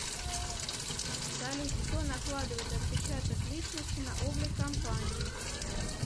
салют кто накладывает отпечаток личности на облик компании